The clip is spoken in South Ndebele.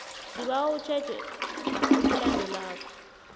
sibawa utjheje okulandelako